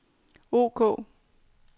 ok